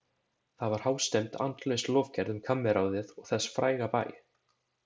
Það var hástemmd, andlaus lofgerð um kammerráðið og þess fræga bæ.